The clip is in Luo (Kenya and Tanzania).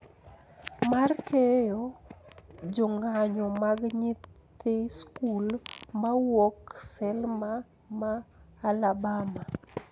Mar keyo jong`anyo mag nyithi skul mawuok Selma ma Alabama